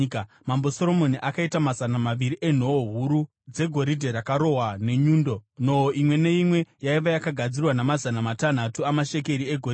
Mambo Soromoni akaita mazana maviri enhoo huru dzegoridhe rakarohwa nenyundo; nhoo imwe neimwe yaiva yakagadzirwa namazana matanhatu amashekeri egoridhe.